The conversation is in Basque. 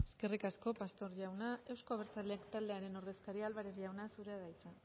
eskerrik asko pastor jauna euzko abertzaleak taldearen ordezkaria álvarez jauna zurea da hitza